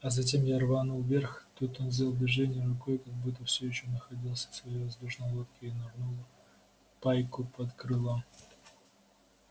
а затем я рванул вверх тут он сделал движение рукой как будто всё ещё находился в своей воздушной лодке и нырнул пайку под крыло